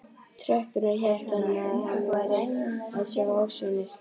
tröppurnar hélt hann að hann væri að sjá ofsjónir.